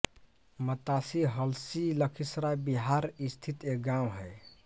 मतासी हलसी लखीसराय बिहार स्थित एक गाँव है